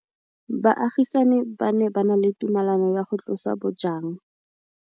Baagisani ba ne ba na le tumalanô ya go tlosa bojang.